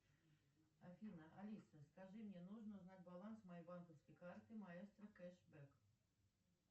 афина алиса скажи мне нужно узнать баланс моей банковской карты маэстро кэшбэк